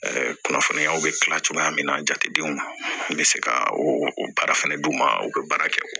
kunnafoniyaw bɛ kila cogoya min na jatedenw ma n bɛ se ka o o baara fɛnɛ d'u ma u bɛ baara kɛ